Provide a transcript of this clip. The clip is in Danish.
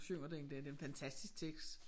Synger den der det en fantastisk tekst